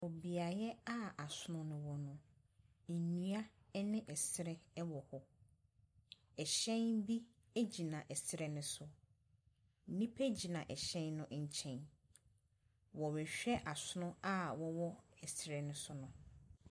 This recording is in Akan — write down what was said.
Beaeɛ a asono no wɔ no, nnua ne ɛsrɛ wɔ hɔ. Ɛhyɛn bi gyina srɛ no so. Nnipa gyina ɛhyɛn no nkyɛn. Wɔrehwɛ asono a wɔwɔ srɛ no so no.